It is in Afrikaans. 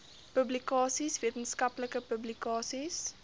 publikasies wetenskaplike publikasies